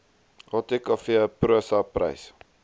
atkv prosa prys